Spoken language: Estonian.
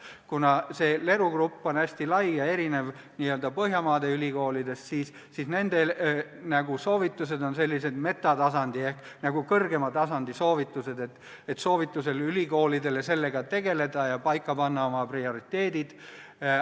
Kuna LERU on hästi lai ja erineb n-ö Põhjamaade ülikoolidest, siis tema soovitused on sellised metatasandi ehk kõrgema tasandi soovitused, nagu näiteks soovitused ülikoolidel sellega tegeleda ja panna paika oma prioriteedid.